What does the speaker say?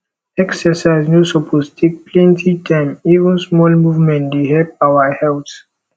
exercise no suppose take plenty time even small movement dey help our health